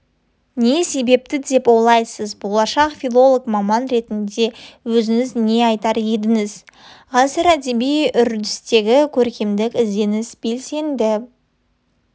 не себепті деп ойлайсыз болашақ филолог маман ретінде өзіңіз не айтар едіңіз ғасыр әдеби үрдісінде көркемдік ізденіс белсенді